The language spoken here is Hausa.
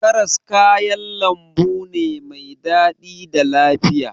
Karas kayan lambu ne mai daɗi da lafiya.